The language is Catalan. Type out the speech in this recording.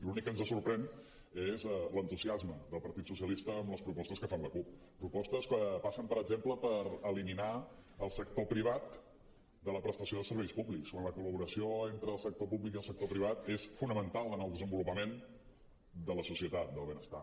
l’únic que ens sorprèn és l’entusiasme del partit socialista amb les propostes que fa la cup propostes que passen per exemple per eliminar el sector privat de la prestació de serveis públics quan la col·laboració entre el sector públic i el sector privat és fonamental en el desenvolupament de la societat del benestar